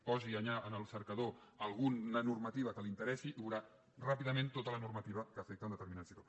posi en el cercador alguna normativa que li interessi i veurà ràpidament tota la normativa que afecta un determinat sector